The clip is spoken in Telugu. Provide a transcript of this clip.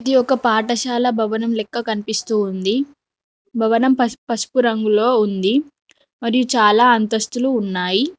ఇది ఒక పాఠశాల భవనం లెక్క కనిపిస్తూ ఉంది భవనం పసుపు పసుపు రంగులో ఉంది అది చాలా అంతస్తులు ఉన్నాయి.